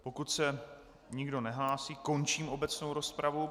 Pokud se nikdo nehlásí, končím obecnou rozpravu.